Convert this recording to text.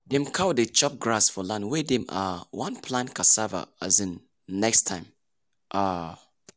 dem cow dey chop grass for land wey dem um wan plant cassava um next time. um